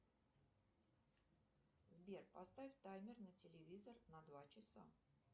сбер поставь таймер на телевизор на два часа